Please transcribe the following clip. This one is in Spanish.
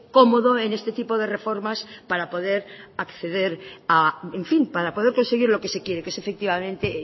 cómodo en este tipo de reformas para poder acceder en fin para poder conseguir lo que se quiere que es efectivamente